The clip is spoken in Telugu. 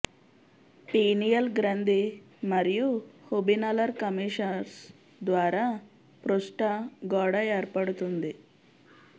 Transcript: పీనియల్ గ్రంథి మరియు హుబినలర్ కమీషర్స్ ద్వారా పృష్ట గోడ ఏర్పడుతుంది